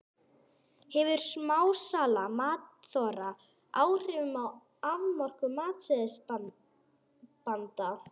Hefur smásala matsþola áhrif á afkomu matsbeiðanda?